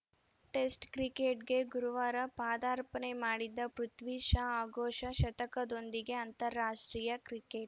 test ಕ್ರಿಕೆಟ್‌ಗೆ ಗುರುವಾರ ಪಾದಾರ್ಪಣೆ ಮಾಡಿದ ಪೃಥ್ವಿ ಶಾ ಆಘೋಷ ಶತಕದೊಂದಿಗೆ ಅಂತಾರಾಷ್ಟ್ರೀಯ ಕ್ರಿಕೆಟ್‌